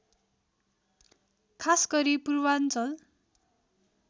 खासगरी पूर्वाञ्चल